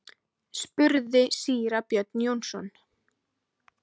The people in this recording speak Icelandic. spurði síra Björn Jónsson.